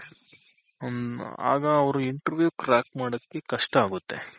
ಹ್ಮ್ಮ್ಆ ಗ ಅವ್ರು Interview crack ಮಾಡೋದ್ಕೆ ಕಷ್ಟ ಆಗುತ್ತೆ.